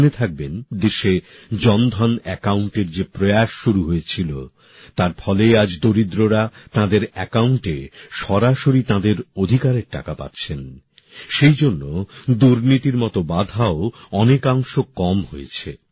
আপনারা জেনে থাকবেন দেশে জন ধন অ্যাকাউন্টের যে প্রয়াস শুরু হয়েছিল তার ফলে আজ দরিদ্ররা তাঁদের অ্যাকাউন্টে সরাসরি তাঁদের অধিকারের টাকা পাচ্ছেন সেই জন্য দুর্নীতির মতো বাধা ও অনেকাংশ কম হয়েছে